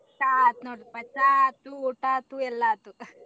ಚಾ ಆತ ನೊಡ್ರಿಪಾ ಚಾ ಆತು ಊಟಾ ಆತು ಎಲ್ಲಾ ಆತು.